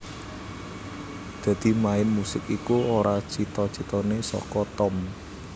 Dadi main musik iku ora cita citane saka Tom